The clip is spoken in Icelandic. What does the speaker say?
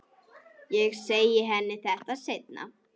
Ég segi henni þetta seinna.